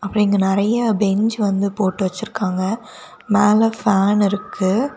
இங்க நெறய பெஞ்ச் வந்து போட்டு வச்சிருக்காங்க மேல ஃபேன் இருக்கு.